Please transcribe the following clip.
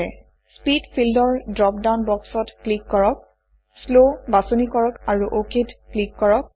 speed field ৰ drop down বক্সত click কৰক শ্লৱ বাছনি কৰক আৰু OKত ক্লিক কৰক